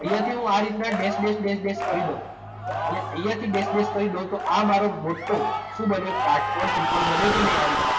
અહિયાંથી હું આ રીતના દેસ દેસ દેસ દેસ કરી દઉં અને અહિયાંથી દેસ દેસ કરી દઉં તો આ મારો મોટો શું બન્યો? કાટકોણ ત્રિકોણ બન્યો કે નહીં આ રીતના.